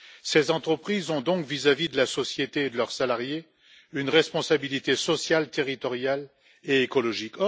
Ces entreprises ont donc, vis à vis de la société et de leurs salariés, une responsabilité sociale, territoriale et écologique.